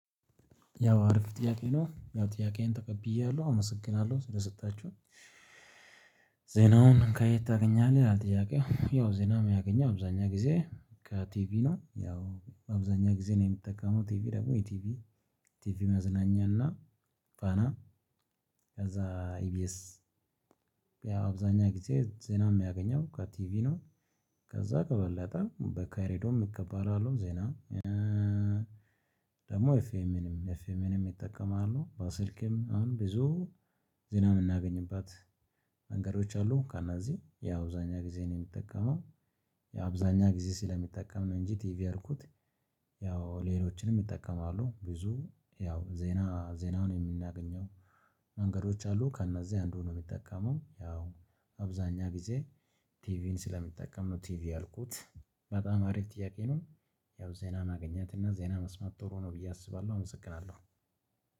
ያው አሪፍ ጥያቄ ነው ያው ጥያቄዬን ተቀብያለሁ አመሰግናለሁ ስለሰጣችሁ። ዜናውን ከየት ታገኛለህ? ይላል ጥያቄው ያው ዜና የማገኘው አብዛኛው ጊዜ ከቲቪ ነው። ያው አብዛኛው ጊዜ እኔ የምጠቀመው ቲቪ ደግሞ ኢቲቪ ቲቪ መዝናኛና ፋና ከዛ ኢቢኤስ አብዛኛው ጊዜ ዜና የማገኘው ከቲቪ ነው። ከዛ ከበለጠ በሬድዮ እቀበላለው ዜና። ደግሞ ኤፍኤምንም ኤፍኤምንም እጠቀማለው በስልኬም አሁን ብዙ ዜና የምናገኝባት መንገዶች አሉ። ከነዚህ ያው አብዛኛ ጊዜ እኔ የምጠቀመው ያው አብዛኛ ጊዜ ስለምጠቀም ነው እንጂ ቲቪ ያልኩት። ሌሎችንም እጠቀማለው። ብዙ ያው ዜና ዜናውን የምናገኘው መንገዶች አሉ ከእነዚህ አንዱ ነው። የምጠቀመው ያው አብዛኛ ጊዜ ቲቪን ስለምጠቀም ነው። ቲቪ በጣም አሪፍ ጥያቄ ነው። ያው ዜና ማግኘት እና ዜና መስማት ጥሩ ነው ብዬ አስባለሁ አመሰግናለሁ።